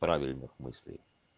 правильных мыслей